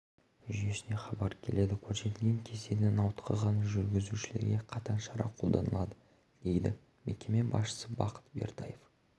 жүйесіне хабар келеді көрсетілген кестеден ауытқыған жүргізушілерге қатаң шара қолданылады дейді мекеме басшысы бақыт бертаев